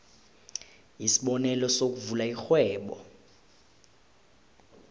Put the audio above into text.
isibonelo sokuvula irhwebo